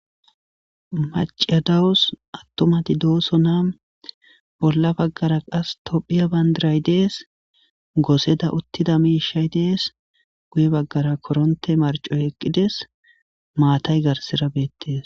Maciadawos attomati dooso na bolla baggara qas tophiya bandiray dees gooseda uttida miishay dees guye baggara koronte marcoy eqqides maatay garsira beettees